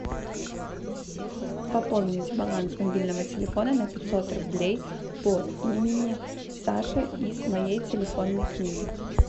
пополнить баланс мобильного телефона на пятьсот рублей по имени саша из моей телефонной книги